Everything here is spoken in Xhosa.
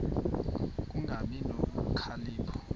ku kungabi nokhalipho